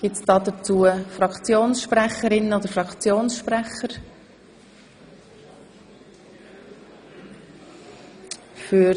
Gibt es Fraktionssprecherinnen oder Fraktionssprecher hierzu?